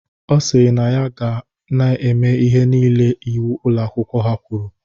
Ọ sịrị na ya ga-eme ihe niile iwu Ụlọ akwụkwọ ha kwuru.